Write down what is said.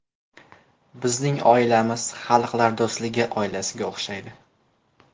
Bizning oilamiz xalqlar do‘stligi oilasiga o‘xshaydi.